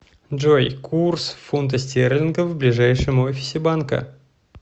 джой курс фунта стерлингов в ближайшем офисе банка